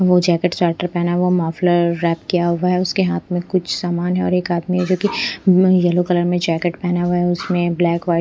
वो jacket starter पहना हुआ मफलर रैप किया हुआ है उसके हाथ में कुछ सामान है और एक आदमी जो कि येलो कलर में जैकेट पहना हुआ है उसमें ब्लैक कहै--